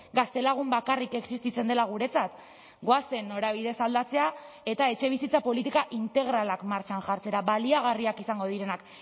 gaztelagun bakarrik existitzen dela guretzat goazen norabidez aldatzea eta etxebizitza politika integralak martxan jartzera baliagarriak izango direnak